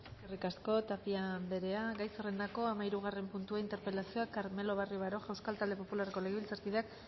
eskerrik asko tapia andrea gai zerrendako hamahirugarren puntua interpelazioa carmelo barrio baroja euskal talde popularreko legebiltzarkideak